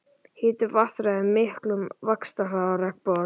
Hiti vatns ræður miklu um vaxtarhraða regnbogasilungs.